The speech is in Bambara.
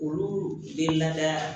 Olu bɛ lada